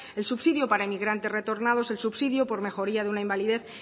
el subsidio para emigrantes retornados el subsidio por mejoría de una invalidez